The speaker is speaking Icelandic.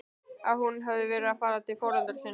Að hún hefði verið að fara til foreldra sinna?